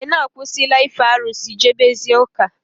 Ekene akwụsị la ife arụsị, jebe zie ụka